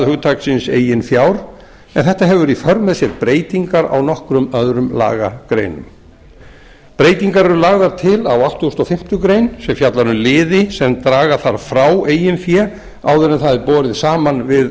hugtaksins eigin fjár en þetta hefur í för með sér breytingar á nokkrum öðrum lagagreinum breytingar eru lagðar til á áttugasta og fimmtu grein sem fjallar um liði sem draga þarf frá eigið fé áður en það er borið saman við